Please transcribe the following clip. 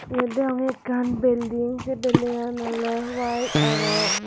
yot degonge ekkan belding sey belding an oley wayet arow.